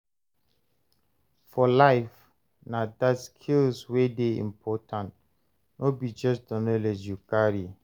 For life, na the skills wey dey important, no be just the knowledge you carry.